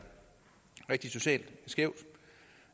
rigtig socialt skævt